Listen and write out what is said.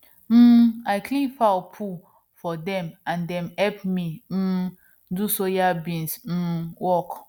um i clean fowl poo for dem and dem help me um do soybean um work